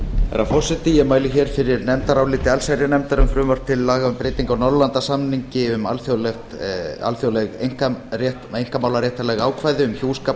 herra forseti ég mæli hér fyrir nefndaráliti allsherjarnefndar um frumvarp til laga um breytingu á norðurlandasamningi um alþjóðleg einkamálaréttarleg ákvæði um hjúskap